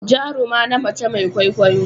Jaruma na mace Mai kwaikwayo.